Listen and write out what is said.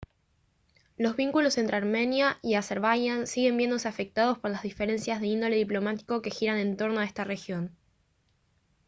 los vínculos entre armenia y azerbaiyán siguen viéndose afectados por las diferencias de índole diplomático que giran en torno a esta región